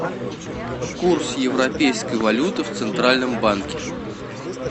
курс европейской валюты в центральном банке